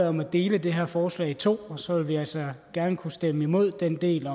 om at dele det her forslag i to og så vil vi altså gerne kunne stemme imod den del